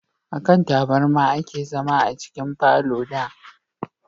A kan taburma a ke zama a cikin falo da